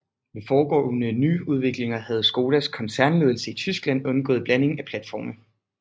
Ved foregående nyudviklinger havde Škodas koncernledelse i Tyskland undgået blanding af platforme